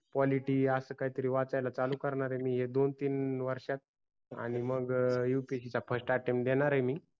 politic अस काही वाचायला चालू करणार आहे मी या दोन तीन वर्षात आणि मग upsc चा first attempt देणार आहे मी